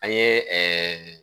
An ye ɛɛ